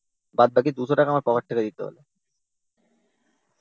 বাদবাকি two hundred টাকা আমার পকেট থেকে দিতে হল।